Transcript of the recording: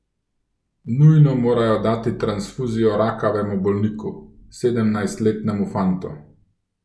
Nujno morajo dati transfuzijo rakavemu bolniku, sedemnajstletnemu fantu.